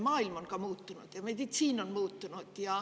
Maailm on muutunud ja ka meditsiin on muutunud.